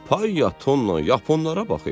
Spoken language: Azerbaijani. "Pay ya tonla yaponlara bax.